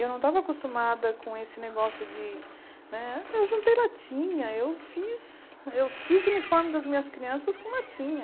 Eu não estava acostumada com esse negócio de né... Eu juntei latinha, eu fiz eu fiz o uniforme das minhas crianças com latinha.